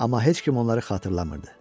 Amma heç kim onları xatırlamırdı.